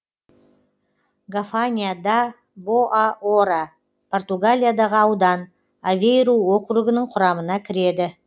гафанья да боа ора португалиядағы аудан авейру округінің құрамына кіреді